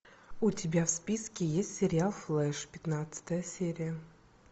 у тебя в списке есть сериал флэш пятнадцатая серия